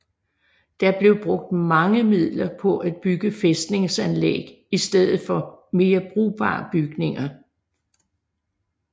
Der blev brugt mange midler på at bygge fæstningsanlæg i stedet for mere brugbare bygninger